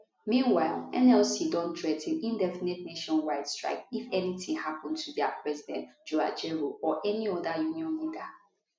meanwhile nlc don threa ten indefinite nationwide strike if anytin happun to dia president joe ajaero or any oda union leader